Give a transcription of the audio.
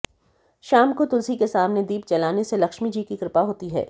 शाम को तुलसी के सामने दीप जलाने से लक्ष्मी जी की कृपा होती है